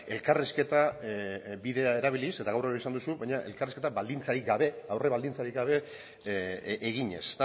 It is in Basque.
elkarrizketa bidea erabiliz eta gaur ere hori esan duzu baina elkarrizketa baldintzarik gabe aurre baldintzarik gabe eginez